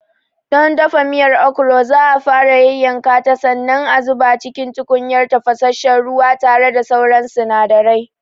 Don dafa miyar Okro za'a fara yayyanka ta sannan a zuba cikin tukunyar tafasasshen ruwa tare da sauran sinadarai.